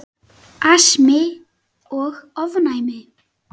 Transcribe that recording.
Astmi og ofnæmi